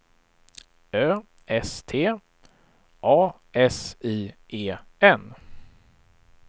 Ö S T A S I E N